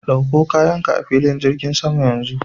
Dauko kayanka a filin jirgin sama yanzu.